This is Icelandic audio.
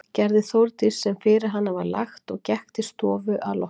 Gerði Þórdís sem fyrir hana var lagt og gekk til stofu að því loknu.